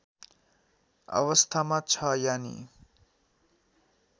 अवस्थामा छ यानि